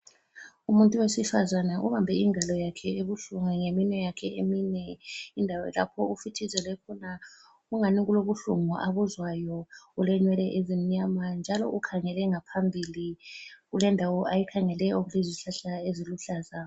Umuntu wesifazane ubambe ingalo yakhe ebuhlungu ngeminwe yakhe emine. Indawo lapho ofithizele khona kungani kulobuhlungu abuzwayo. Ulenwele ezimnyama, njalo ukhangele ngaphambili kulendawo ayikhangeleyo kulezihlahla eziluhlaza.